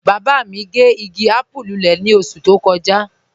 Baba mi gẹ́ igi àpùú lúlẹ̀ ni oṣù tó kọja.